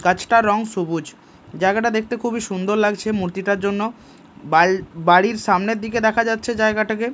গাছটার রং সবুজ জায়গাটা দেখতে খুবই সুন্দর লাগছে মূর্তিটার জন্য বাল বাড়ির সামনের দিকে দেখা যাচ্ছে জায়গাটাকে।